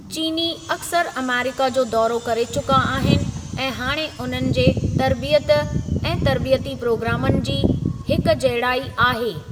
चीनी अक्सर अमेरिका जो दौरो करे चुका आहिनि ऐं हाणे उन्हनि जे तरबियत ऐं तर्बीयती प्रोग्रामनि जी हिकजहिड़ाई आहे।